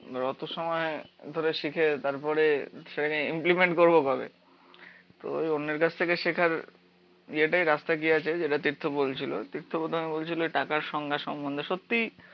অত সময় ধরে শিখে তারপরে সেটাকে ইমপ্লিমেন্ট করবো কবে। তো ওই অন্যের কাছ থেকে শেখার ইয়ে টাই রাস্তা কি আছে যেটা তীর্থ বলছিলো। তীর্থ প্রথমে বলছিলো ওই টাকার সংজ্ঞা সম্বন্ধে। সত্যিই